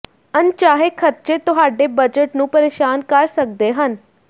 ਅਣਚਾਹੇ ਖਰਚੇ ਤੁਹਾਡੇ ਬਜਟ ਨੂੰ ਪਰੇਸ਼ਾਨ ਕਰ ਸਕਦੇ ਹਨ